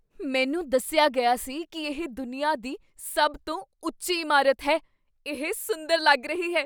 ਮੈਨੂੰ ਦੱਸਿਆ ਗਿਆ ਸੀ ਕੀ ਇਹ ਦੁਨੀਆ ਦੀ ਸਭ ਤੋਂ ਉੱਚੀ ਇਮਾਰਤ ਹੈ। ਇਹ ਸੁੰਦਰ ਲੱਗ ਰਹੀ ਹੈ!